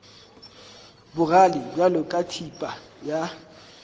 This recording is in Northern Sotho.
bogale bjalo ka thipa ya